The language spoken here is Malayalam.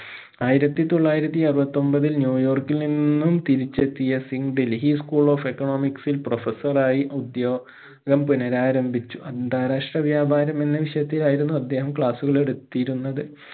ആയിരത്തി തൊള്ളായിരത്തി അറുപത്തൊമ്പതിൽ ന്യൂയോർക്കിൽ നിന്നും തിരിച്ചെത്തിയ Singh Delhi school of economics ഇൽ professor റായി ഉദ്യോഗം പുനരാരംഭിച്ചു അന്താരാഷ്ട്ര വ്യാപാരം എന്ന വിഷയത്തിലായിരുന്നു അദ്ദേഹം class കൾ എടുത്തിരുന്നത്